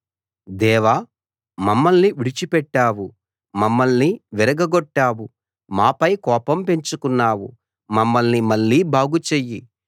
దేవా మమ్మల్ని విడిచిపెట్టావు మమ్మల్ని విరగగొట్టావు మాపై కోపం పెంచుకున్నావు మమ్మల్ని మళ్ళీ బాగు చెయ్యి